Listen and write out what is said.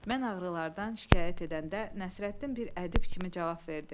Mən ağrılardan şikayət edəndə Nəsrəddin bir ədib kimi cavab verdi.